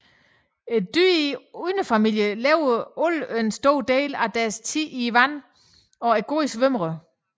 Dyrene i underfamilien lever alle en stor del af deres tid i vandet og er gode svømmere